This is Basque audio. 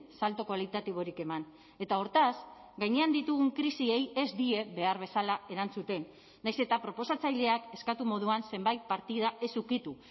salto kualitatiborik eman eta hortaz gainean ditugun krisiei ez die behar bezala erantzuten nahiz eta proposatzaileak eskatu moduan zenbait partida ez ukitu